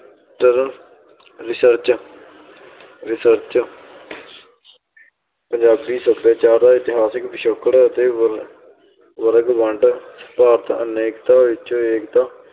research research Punjabi ਸਭਿਆਚਾਰ, ਇਤਿਹਾਸਕ ਪਿਛੋਕੜ ਅਤੇ ਵਰ~ ਵਰਗ ਵੰਡ ਭਾਰਤ ਅਨੇਕਾਂ ਵਿੱਚੋਂ ਏਕਤਾ